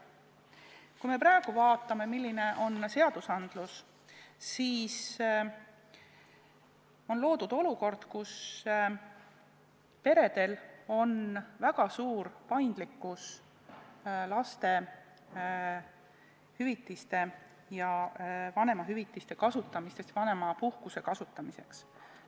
Kui me praegu vaatame, millised on seadused, siis on loodud olukord, kus peredel on võimalik väga suur paindlikkus lastehüvitiste ja vanemahüvitiste ning vanemapuhkuse kasutamiseks.